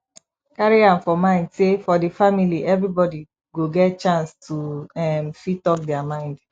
carry am for mind say for di family everybody go get chance to um fit talk their mind